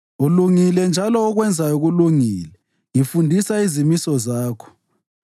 Ulungile njalo okwenzayo kulungile; ngifundisa izimiso zakho.